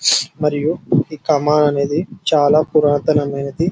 మరియు ఈ కామన్ అనేది చాల పురాతన మైనది.